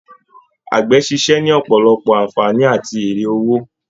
Àgbẹ̀ ṣíṣe ní ọ̀pọ̀lọpọ̀ ànfàní àti èrè owó.